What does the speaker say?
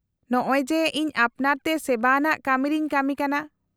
- ᱱᱚᱸᱜ ᱚᱭ ᱡᱮ, ᱤᱧ ᱟᱯᱱᱟᱨ ᱛᱮ ᱥᱮᱵᱟ ᱟᱱᱟᱜ ᱠᱟᱢᱤᱨᱮᱧ ᱠᱟᱢᱤ ᱠᱟᱱᱟ ᱾